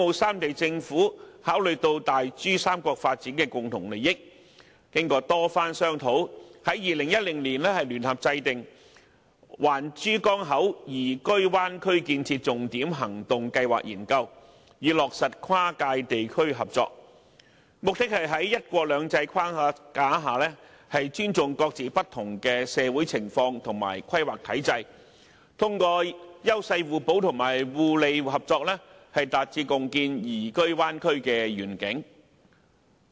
三地政府考慮到大珠三角發展的共同利益，經過多番商討，終在2010年聯合制訂《環珠江口宜居灣區建設重點行動計劃》研究，以落實跨界地區合作，目的是在"一國兩制"的框架下，尊重各自不同的社會情況和規劃體制，通過優勢互補和互利合作，達致共建宜居灣區的願景。